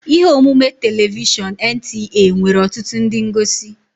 Ihe omume telivishọn NTA nwere ọtụtụ ndị ngosi